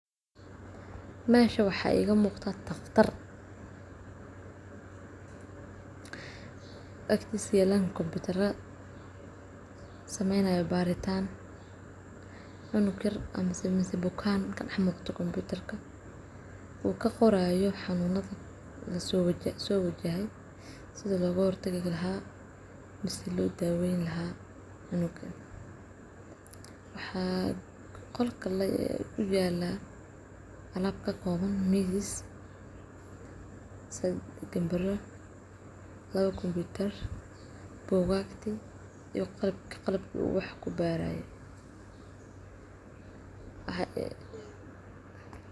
meshan waxaa iga muqdaa dhakhtar agtiisa yalaaln koputaro cnug yar mise bukaan kamuuqdo uu kaqoraaayo xanuunadi soo wajehe ama sidi looga daweeni lahaa waxaa qolkan yalaa alaab kakooban miis gambaro lawa koputar iyo qalabkuu wax kubaraaye